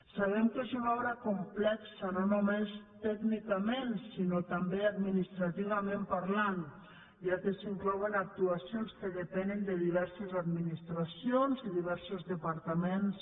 sabem que és una obra complexa no només tècnicament sinó també administrativament parlant ja que s’hi inclouen actuacions que depenen de diverses administracions i diversos departaments